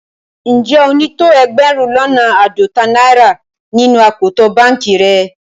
Njẹ́ o ni tó ẹgbérùn lọ́nà aádọ́tà naira nínu akòtò bankì rẹ̀?